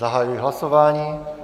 Zahajuji hlasování.